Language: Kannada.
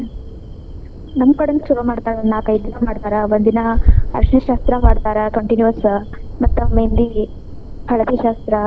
ನಮ್ಕಡೆನೂ ಛಲೋ ಮಾಡ್ತಾರ ನಾಲ್ಕೈದ್ ದಿನ ಮಾಡ್ತಾರ ಒಂದ್ ದಿನಾ ಅರಸಿಣ ಶಾಸ್ತ್ರಾ ಮಾಡ್ತಾರ. continuous , ಮತ್ತ ಮೆಹಂದಿ ಹಳದಿ ಶಾಸ್ತ್ರ.